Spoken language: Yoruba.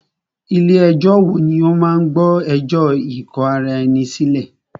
Ilé ẹ̀jọ wo ní o máà gbọ́ ẹjọ́ ikò ará ẹni sílẹ̀?